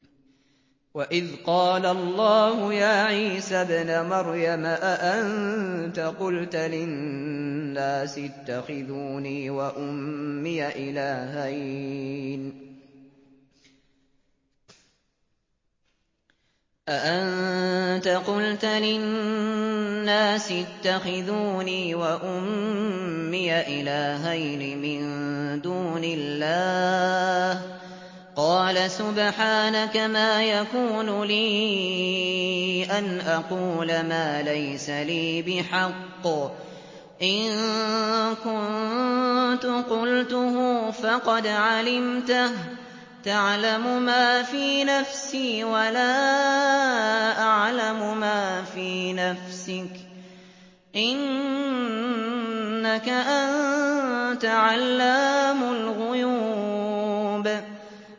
وَإِذْ قَالَ اللَّهُ يَا عِيسَى ابْنَ مَرْيَمَ أَأَنتَ قُلْتَ لِلنَّاسِ اتَّخِذُونِي وَأُمِّيَ إِلَٰهَيْنِ مِن دُونِ اللَّهِ ۖ قَالَ سُبْحَانَكَ مَا يَكُونُ لِي أَنْ أَقُولَ مَا لَيْسَ لِي بِحَقٍّ ۚ إِن كُنتُ قُلْتُهُ فَقَدْ عَلِمْتَهُ ۚ تَعْلَمُ مَا فِي نَفْسِي وَلَا أَعْلَمُ مَا فِي نَفْسِكَ ۚ إِنَّكَ أَنتَ عَلَّامُ الْغُيُوبِ